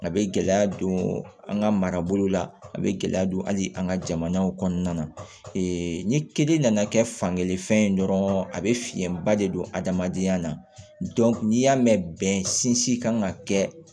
A bɛ gɛlɛya don an ka marabolo la a bɛ gɛlɛya don hali an ka jamanaw kɔnɔna na ni kere nana kɛ fankelen fɛn ye dɔrɔn a bɛ fiɲɛba de don adamadenya la n'i y'a mɛn bɛn sinsin kan ka kɛ